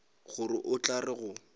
gore o tla re go